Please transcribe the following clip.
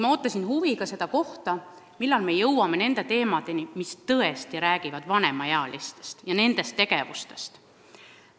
Ma ootasin huviga, millal ta jõuab vanemaealistega seotud tegevusteni.